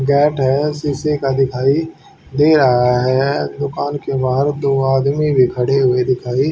gate है शीशे का दिखाई दे रहा है दुकान के बाहर दो आदमी भी खड़े हुए दिखाई--